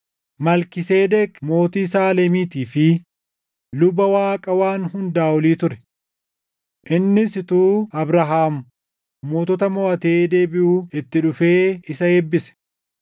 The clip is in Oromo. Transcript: Malkiiseedeq mootii Saalemiitii fi luba Waaqa Waan Hundaa Olii ture. Innis utuu Abrahaam mootota moʼatee deebiʼuu itti dhufee isa eebbise;